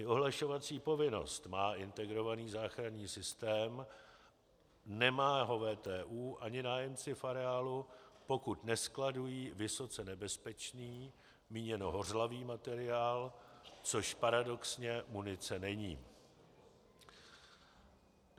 I ohlašovací povinnost má integrovaný záchranný systém, nemá ho VTÚ ani nájemci v areálu, pokud neskladují vysoce nebezpečný, míněno hořlavý, materiál, což paradoxně munice není.